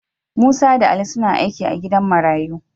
Musa da Ali suna aiki a gidan marayu.